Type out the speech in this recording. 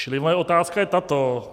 Čili moje otázka je tato.